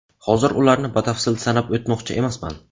Hozir ularni batafsil sanab o‘tmoqchi emasman.